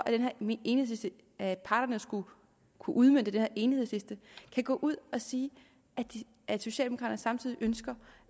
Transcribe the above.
at parterne skulle kunne udmønte den her enighedsliste kan gå ud og sige at socialdemokraterne samtidig ønsker